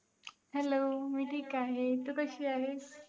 hello मी ठीक आहे, तू कशी आहेस?